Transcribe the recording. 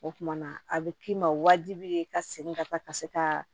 O kumana a bɛ k'i ma wajibi ye ka segin ka taa ka se ka